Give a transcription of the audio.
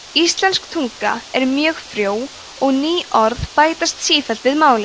íslensk tunga er mjög frjó og ný orð bætast sífellt við málið